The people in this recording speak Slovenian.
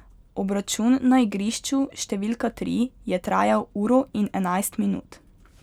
Obračun na igrišču številka tri je trajal uro in enajst minut.